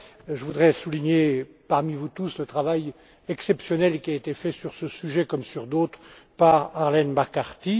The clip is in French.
Je voudrais souligner le travail exceptionnel qui a été fait, sur ce sujet comme sur d'autres, par Arlene McCarthy